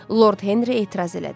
Lord Henri etiraz elədi.